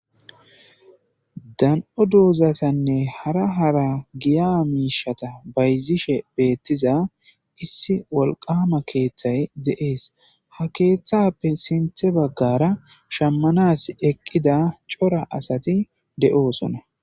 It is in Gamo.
Dan'o doozatanne hara hara giya miishata bayzishe betiya issi wolqama keethay de'es ha keethappe sintha bagara shamanasi eqida cora asati de'osona.